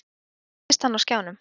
Svo birtist hann á skjánum.